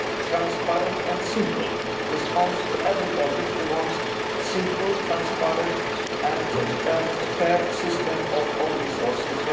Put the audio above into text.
transparent and simple response to everybody who wants a simple, transparent and a fair system of own resources.